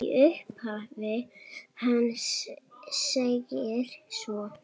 Í upphafi hans segir svo